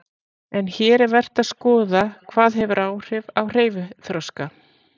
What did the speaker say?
En hér er vert að skoða hvað hefur áhrif á hreyfiþroska.